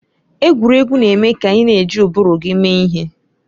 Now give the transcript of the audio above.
Egwuregwu na-eme ka ị na-eji ụbụrụ gị mee ihe.